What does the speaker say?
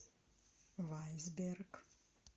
вайсберг